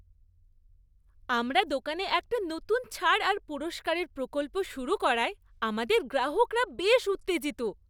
আমরা দোকানে একটা নতুন ছাড় আর পুরস্কারের প্রকল্প শুরু করায় আমাদের গ্রাহকরা বেশ উত্তেজিত।